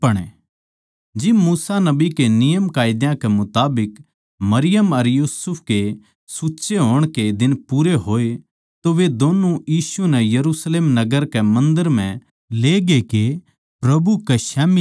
जिब मूसा नबी कै नियमकायदा कै मुताबिक मरियम अर यूसुफ कै सूंच्चे होण के दिन पूरे होए तो वे दोन्नु यीशु नै यरुशलेम नगर के मन्दर म्ह लेगे के प्रभु कै स्याम्ही ल्याए